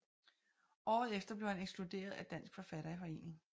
Året efter blev han ekskluderet af Dansk Forfatterforening